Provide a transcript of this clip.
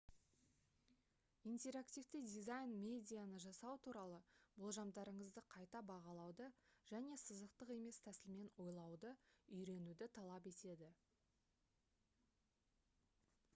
интерактивті дизайн медианы жасау туралы болжамдарыңызды қайта бағалауды және сызықтық емес тәсілмен ойлауды үйренуді талап етеді